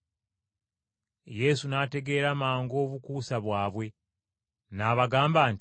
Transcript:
Yesu n’ategeera mangu obukuusa bwabwe, n’abagamba nti,